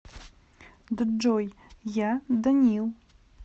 джой я данил